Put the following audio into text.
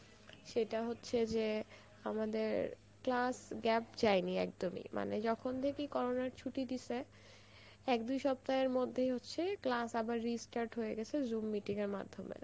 সেটা হচ্ছে যে আমাদের class gap জয়েনি একদমই মানে যখন থেকেই corona র ছুটি দিসে এক দুই সপ্তাহের মধ্যেই হচ্ছে class আবার restart হয়ে গেছে zoom মিটিং এর মাধ্যমে